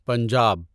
Punjab